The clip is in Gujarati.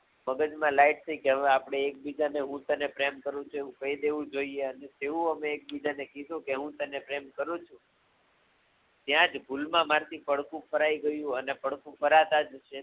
મગજમા થઈ કે હવે આપડે ઍક બીજાને હું તને પ્રેમ કરું છું એવું કઈ દેવું જોઈએ અને તેવું અમે એકબીજાને કીધું કે હું તને પ્રેમ કરું છું ત્યા જ ભૂલમાં મારથી પડખું ફરાઈ ગયું અને પડખું ફરાતાજ